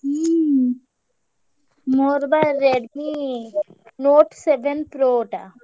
ହୁଁ ମୋର ବା Redmi Note Seven Pro ଟା।